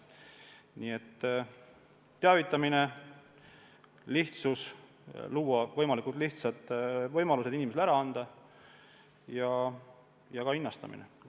Nii et teavitamine, lihtsus – tuleb luua võimalikult lihtsad võimalused jäätmeid ära anda – ja ka hinnastamine.